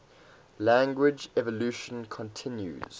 language evolution continues